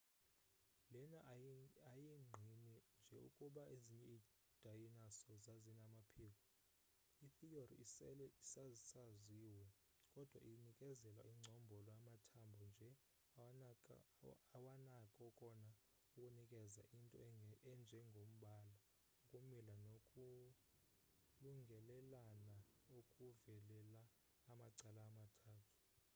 lena ayingqini nje ukuba ezinye iidayinaso zazinamaphiko itheory esele isasaziwe kodwa inikeza ingcombolo amathambo nje awanako kona ukunikeza ,into enjengombala ukumila nokulungelelana okuvelela amacala amathathu